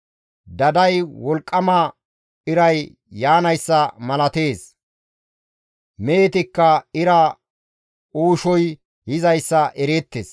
Daday wolqqama iray yaanayssa malatees; mehetikka ira uushoy yizayssa ereettes.